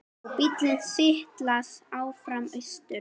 Og bíllinn silast áfram austur.